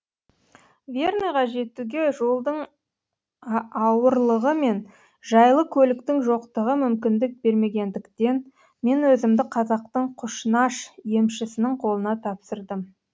верныйға жетуге жолдың ауырлығы мен жайлы көліктің жоқтығы мүмкіндік бермегендіктен мен өзімді қазақтың құшнаш емшісінің қолына тапсырдым